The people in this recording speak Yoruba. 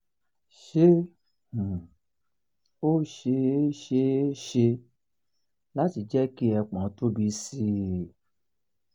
ṣé um ó ṣeé ṣeé ṣe láti jẹ́ ki ẹpọ̀n tóbi sí um i?